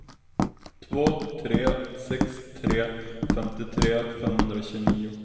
två tre sex tre femtiotre femhundratjugonio